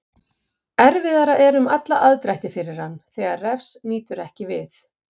Erfiðara er um alla aðdrætti fyrir hann þegar Refs nýtur ekki við.